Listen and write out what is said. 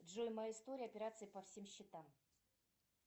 джой моя история операции по всем счетам